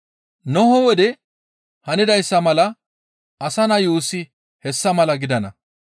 Nohe wode hanidayssa mala Asa Naa yuussi hessa mala gidana.